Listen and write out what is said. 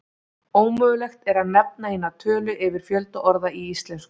Ómögulegt er að nefna eina tölu yfir fjölda orða í íslensku.